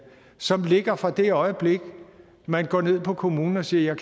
som ligger fra det øjeblik man går ned på kommunen og siger at